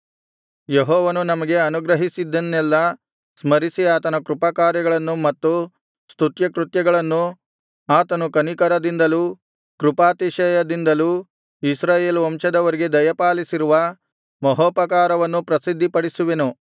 ಯೆಹೋವನು ನಮಗೆ ಅನುಗ್ರಹಿಸಿದ್ದನ್ನೆಲ್ಲಾ ಸ್ಮರಿಸಿ ಆತನ ಕೃಪಾಕಾರ್ಯಗಳನ್ನು ಮತ್ತು ಸ್ತುತ್ಯಕೃತ್ಯಗಳನ್ನು ಆತನು ಕನಿಕರದಿಂದಲೂ ಕೃಪಾತಿಶಯದಿಂದಲೂ ಇಸ್ರಾಯೇಲ್ ವಂಶದವರಿಗೆ ದಯಪಾಲಿಸಿರುವ ಮಹೋಪಕಾರವನ್ನೂ ಪ್ರಸಿದ್ಧಿಪಡಿಸುವೆನು